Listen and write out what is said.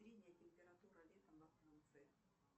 средняя температура летом во франции